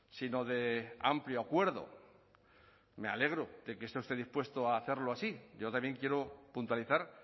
sino de amplio acuerdo me alegro de que esté usted dispuesto a hacerlo así yo también quiero puntualizar